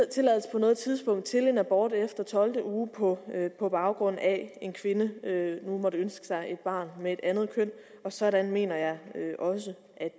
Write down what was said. på noget tidspunkt til en abort efter tolvte uge på på baggrund af at en kvinde nu måtte ønske sig et barn med et andet køn og sådan mener jeg også